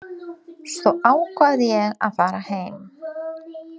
Svo ákvað ég að fara heim.